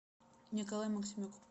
николай максимюк